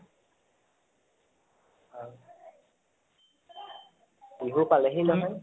বিহু পালেহি নহয়